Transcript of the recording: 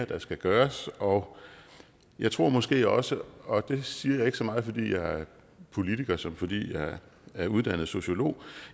der skal gøres og jeg tror måske også og det siger jeg ikke så meget fordi jeg er politiker som fordi jeg er uddannet sociolog